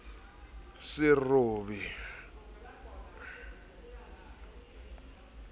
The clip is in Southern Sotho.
serobe phiri e se e